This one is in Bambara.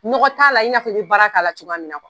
Nɔgɔ t'a la i n'a i bɛ baara k'a la cogoya min na